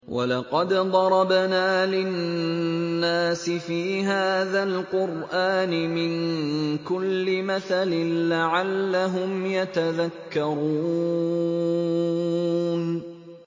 وَلَقَدْ ضَرَبْنَا لِلنَّاسِ فِي هَٰذَا الْقُرْآنِ مِن كُلِّ مَثَلٍ لَّعَلَّهُمْ يَتَذَكَّرُونَ